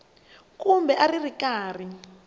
kumbe a a ri karhi